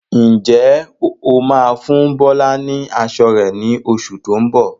Ǹjẹ́ o máa fún Bọlá ni aṣọ rẹ ni oṣù tó ń bọ̀?